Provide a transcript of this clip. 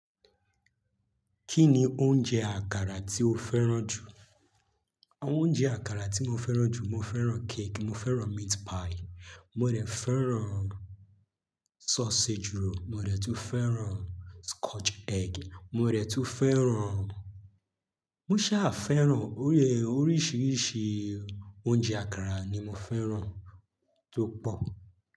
Kí ni oúnjẹ àkàrà tí o fẹ́ràn jù? Àwọn oúnjẹ àkàrà tí mo fẹ́ràn jù. Mo fẹ́ràn cake, mo fẹ́ràn meat pie, mo dẹ̀ fẹ́ràn sausage roll, mo dẹ̀ tún fẹ́ràn scotch egg, mo dẹ̀ tún fẹ́ràn mo ṣà fẹ́ràn oríṣiríṣi oúnjẹ àkàrà ni mo fẹ́ràn tó pọ̀.